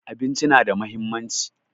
Abinci na da muhimmanci